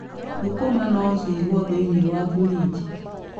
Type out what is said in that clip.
Thũkũma no ciigwo thĩiniĩ wa burinji.